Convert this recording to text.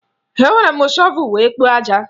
Ewere m shọvee wee kpoo aja